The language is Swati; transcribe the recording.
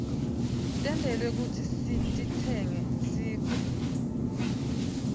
tentelwe kutsi sititsenge sigwke